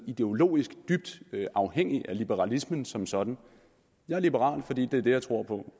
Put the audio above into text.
ideologisk dybt afhængig af liberalismen som sådan jeg er liberal fordi det er det jeg tror på